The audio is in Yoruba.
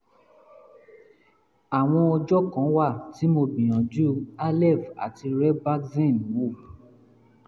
àwọn ọjọ́ kan wà tí mo gbìyànjú aleve àti robaxin wò